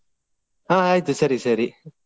ಹ ಆಯ್ತು ಸರಿ ಸರಿ.